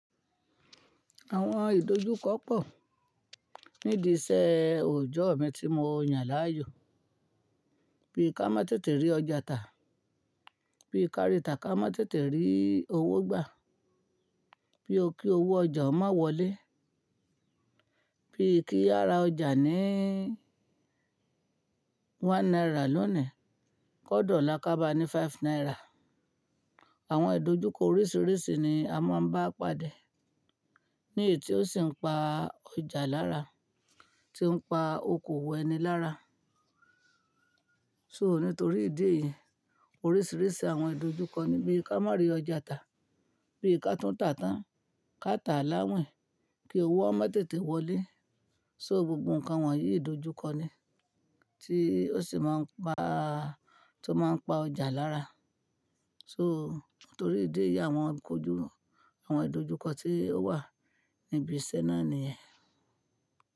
Àwọn ìdojúkọ pọ̀ nídi iṣẹ́ òòjọ́ mi tí mo yàn láàyò. Bí ká má tètè rí ọjà tà, bí ká rí tà ká má tètè rí owó gbà, bí ó kí owó ọjà má wọlé, bí kí ara ọjà ní one naira lónìí, kódọlá ká bá ní five naira. Àwọn ìdojúkọ oríṣiríṣi ni a máa ń bá pàdé ní èyí tí ó sì ń pa ọjà lára, tí ń pa okoòwò ẹni lára. So nítorí ìdí èyí, oríṣiríṣi àwọn ìdojúkọ ní bí ká má rí ọjà tà, bí ká tún tà tán, ká tà láwìn, kí owó o má tètè wọlé. So gbogbo nǹkan wọ̀nyí ìdojúkọ ni tí ó sì máa ń pa, tó máa ń pa ọjà lára. So nítorí ìdí èyí àwọn ìdojúkọ, àwọn ìdojúkọ tí ó wà níbi iṣẹ́ náà nìyẹn.